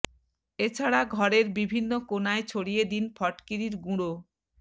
এছাড়া ঘরের বিভিন্ন কোণায় ছড়িয়ে দিন ফটকিরির গুঁড়ো